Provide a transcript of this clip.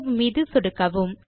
save மீது சொடுக்கவும்